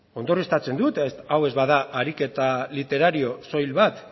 ondorioztatzen dut hau ez bada ariketa literario soil bat